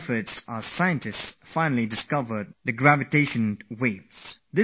This is a success for science which was very difficult to achieve